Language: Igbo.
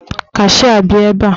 Kashịa bịa ebe!